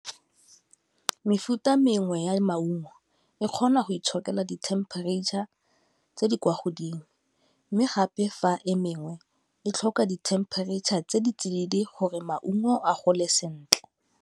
Mefuta mengwe ya maungo e kgona go itshokela di-temperature tse di kwa godimo, mme gape fa e mengwe e tlhoka di-temperature tse di tsididi gore maungo a gole sentle.